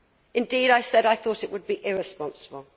Indeed, I said I thought it would be irresponsible.